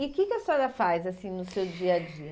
E o que que a senhora faz assim no seu dia a dia?